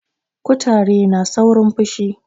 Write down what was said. kutare na saurin pushi